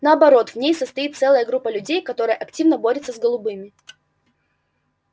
наоборот в ней состоит целая группа людей которая активно борется с голубыми